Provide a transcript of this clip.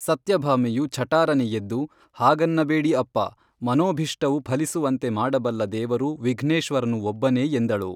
ಸತ್ಯ ಭಾಮೆಯು ಛಟಾರನೆ ಎದ್ದು ಹಾಗನ್ನ ಬೇಡಿ ಅಪ್ಪಾ, ಮನೋಭೀಷ್ಟವು ಫಲಿಸುವಂತೆ ಮಾಡಬಲ್ಲ ದೇವರು ವಿಘ್ನೆಶ್ವರನು ಒಬ್ಬನೇ ಎಂದಳು